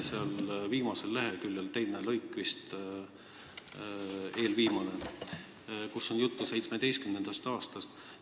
Seletuskirja viimase lehekülje teises, eelviimases lõigus on juttu 2017. aastast.